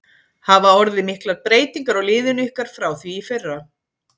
Hafa orðið miklar breytingar á liðinu ykkar frá því í fyrra?